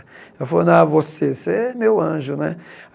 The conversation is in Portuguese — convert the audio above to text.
Ela falou, não, você você é meu anjo, né?